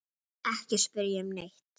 Ekki spyrja um neitt.